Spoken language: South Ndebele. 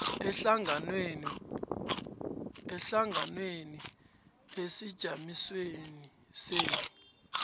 ehlanganwenenu esijamisweni senu